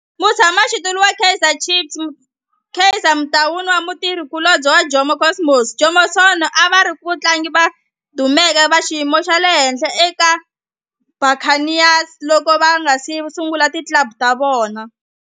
Mutshama xitulu wa Kaizer Chiefs Kaizer Motaung na mutirhi kulobye wa Jomo Cosmos Jomo Sono a va ri vatlangi lava dumeke va xiyimo xa le henhla eka Buccaneers loko va nga si sungula ti club ta vona.